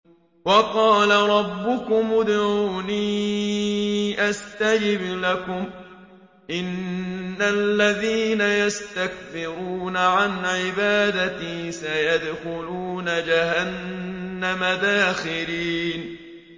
وَقَالَ رَبُّكُمُ ادْعُونِي أَسْتَجِبْ لَكُمْ ۚ إِنَّ الَّذِينَ يَسْتَكْبِرُونَ عَنْ عِبَادَتِي سَيَدْخُلُونَ جَهَنَّمَ دَاخِرِينَ